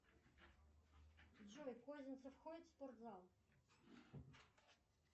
джой козинцев ходит в спортзал